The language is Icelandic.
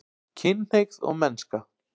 KYNHNEIGÐ OG MENNSKA